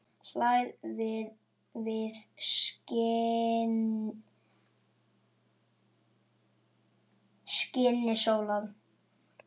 hlær við skini sólar